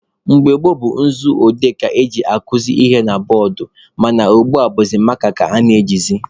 Mgbe gboo bụ nzu odee ka eji akuzi ihe na bọọdụ mana ugbua bụ maaka ka a na-ejizi..